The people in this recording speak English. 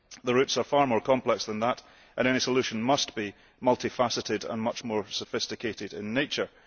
The roots are far more complex than that, and any solution must be multifaceted and much more sophisticated in nature.